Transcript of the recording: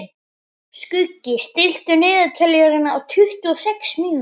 Skuggi, stilltu niðurteljara á tuttugu og sex mínútur.